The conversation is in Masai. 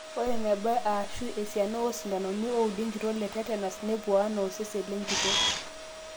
ore eneba aashu esiana oosintanoni ooudi enkitok letetenas nepuo enaa osezen lenkitok